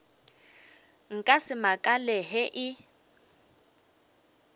nka se makale ge e